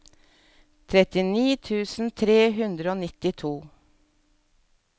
trettini tusen tre hundre og nittito